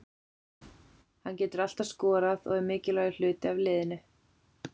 Hann getur alltaf skorað og er mikilvægur hluti af liðinu.